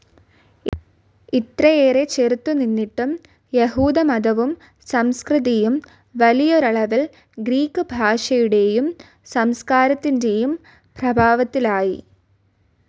ഇത്രയേറെ ചെറുത്ത് നിന്നിട്ടും, യഹൂദ മതവും സംസ്കൃതിയും വലിയൊരളവിൽ ഗ്രീക്ക് ഭാഷയുടെയും സംസ്കാരത്തിൻ്റെയും പ്രഭാവത്തിലായി.